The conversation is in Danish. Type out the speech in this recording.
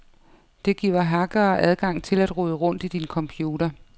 Det giver hackere adgang til at rode rundt i din computer.